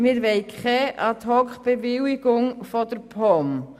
Wir wollen keine Ad-hoc-Bewilligung durch die POM.